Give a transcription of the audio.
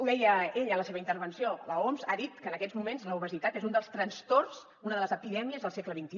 deia ell en la seva intervenció l’oms ha dit que en aquests moments l’obesitat és un dels trastorns una de les epidèmies del segle xxi